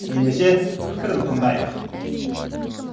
ендеше пікірін тындайық